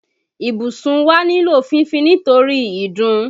Ibùsùn wa nílò fífín nítorí ìdun.